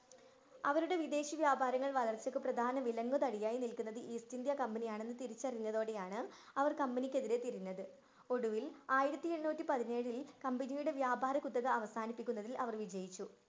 അവരുടെ വിദേശവ്യാപരങ്ങള്‍ വളർച്ചക്ക് പ്രധാന വിലങ്ങുതടിയായി നില്‍ക്കുന്നത് ഈസ്റ്റ് ഇന്ത്യൻ കമ്പനിയാണെന്ന് തിരിച്ചരിഞ്ഞതോടെയാണ് അവര്‍ company ക്കെതിരെ തിരിഞ്ഞത്. ഒടുവില്‍ ആയിരത്തി എണ്ണൂറ്റി പതിനേഴില്‍ company യുടെ വ്യാപാരകുത്തക അവസാനിപ്പിക്കുന്നതില്‍ അവര്‍ വിജയിച്ചു.